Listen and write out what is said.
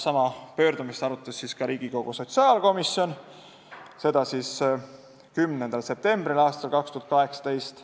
Sama pöördumist arutas ka Riigikogu sotsiaalkomisjon, seda 10. septembril aastal 2018.